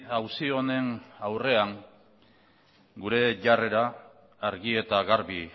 auzi honen aurrean gure jarrera argi eta garbi